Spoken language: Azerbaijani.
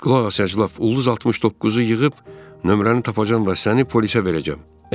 Qulaq as əclaf, ulduz 69-u yığıb nömrəni tapacam və səni polisə verəcəm.